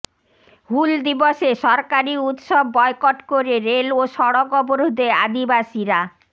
হুল দিবসে সরকারি উত্সব বয়কট করে রেল ও সড়ক অবরোধে আদিবাসীরা